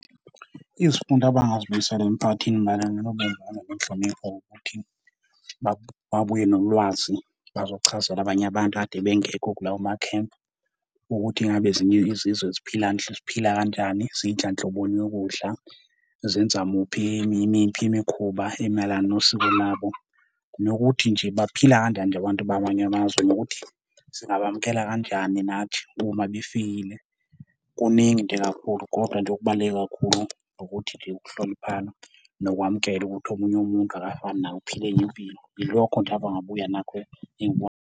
Izifundo abangazibuyisela emiphakathini mayelana nobumbano nenhlonipho ukuthi babuye nolwazi bazochazela abanye abantu ade bengekho kulawo makhempi, ukuthi ingabe ezinye izizwe ziphila ziphila kanjani, zidla nhloboni yokudla, zenza muphi yimiphi imikhuba emayelana nosiko labo, nokuthi nje baphila kanjani nje abantu bamanye amazwe nokuthi singawamukela kanjani nathi uma befikile. Kuningi nje kakhulu, kodwa nje okubaluleke kakhulu ukuthi nje ukuhloniphana nokwamukela ukuthi omunye umuntu akafani nawe, uphila enye impilo. Yilokho nje abangabuya nakho .